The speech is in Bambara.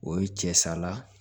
O ye cɛ sala